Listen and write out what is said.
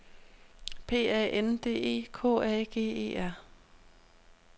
P A N D E K A G E R